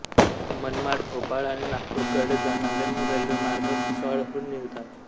मनमाड भोपाळ आणि नागपूरकडे जाणारे रेल्वेमार्ग भुसावळहून निघतात